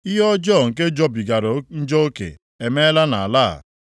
“Ihe ọjọọ nke jọbigara njọ oke emeela nʼala a.